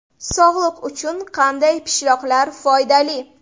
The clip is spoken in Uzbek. Sog‘liq uchun qanday pishloqlar foydali?.